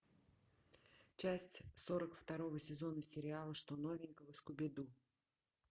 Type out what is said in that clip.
часть сорок второго сезона сериала что новенького скуби ду